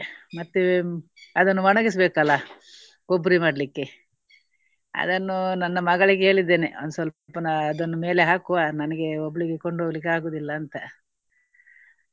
ಮತ್ತೆ ಅದನ್ನು ಒಣಗಿಸ್ಬೇಕಲ್ಲ ಕೊಬ್ಬರಿ ಮಾಡ್ಲಿಕ್ಕೆ. ಅದನ್ನು ನನ್ನ ಮಗಳಿಗೆ ಹೇಳಿದ್ದೇನೆ. ಅವನು ಸ್ವಲ್ಪ ಅದನ್ನು ಮೇಲೆ ಹಾಕುವ. ನನಗೆ ಒಬ್ಬಳಿಗೆ ಕೊಂಡು ಹೋಗ್ಲಿಕ್ಕೆ ಆಗುವುದಿಲ್ಲ ಅಂತ.